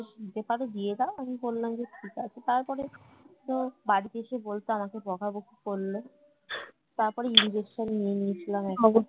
দিতে পারো দিয়ে দাও আমি বললাম যে ঠিক আছে তারপরে তো বাড়িতে এসে বলতে আমাকে বকাবকি করলো তারপরে injection নিয়ে নিয়েছিলাম